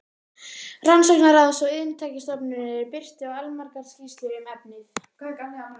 Rannsóknaráðs og Iðntæknistofnunar og birti allmargar skýrslur um efnið.